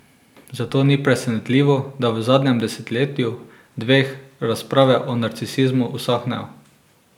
Zato ni presenetljivo, da v zadnjem desetletju, dveh, razprave o narcisizmu usahnejo.